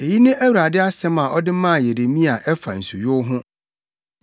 Eyi ne Awurade asɛm a ɔde maa Yeremia a ɛfa nsuyow ho: